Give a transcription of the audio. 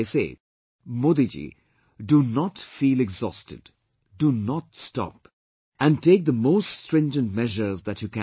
They say Modiji, do not feel exhausted, do not stop and take the most stringent measures that you can